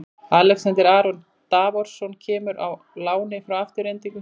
Alexander Aron Davorsson kemur á láni frá Aftureldingu.